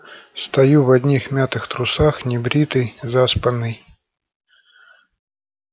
стою в одних мятых трусах небритый заспанный